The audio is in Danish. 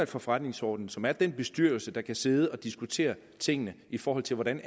for forretningsordenen som er den bestyrelse der kan sidde og diskutere tingene i forhold til hvordan